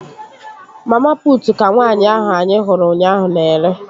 Mama putu ka nwaanyị ahụ anyị hụrụ ụnyaahụ na-ere